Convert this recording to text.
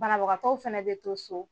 Banabagatɔw fana bɛ to so.